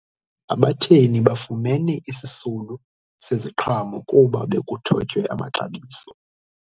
Abatheni bafumene isisulu seziqhamo kuba bekuthotywe amaxabiso.